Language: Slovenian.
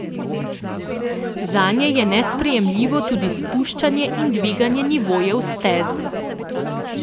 Zanje je nesprejemljivo tudi spuščanje in dviganje nivojev stez.